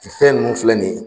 Sisɛ nun filɛ nin ye.